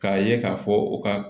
K'a ye k'a fɔ u ka